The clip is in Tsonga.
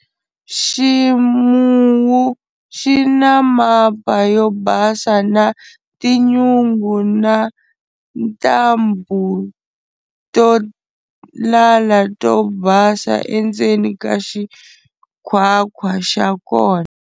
Ximuwu xi na mapa yo basa na tinyungu na ntambu to lala to basa endzeni ka xikhwakhwa xa kona.